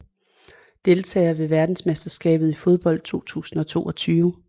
Deltagere ved verdensmesterskabet i fodbold 2022